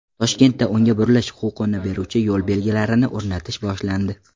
Toshkentda o‘ngga burilish huquqini beruvchi yo‘l belgilarini o‘rnatish boshlandi.